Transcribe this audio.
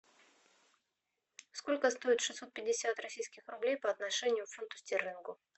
сколько стоит шестьсот пятьдесят российских рублей по отношению к фунту стерлингу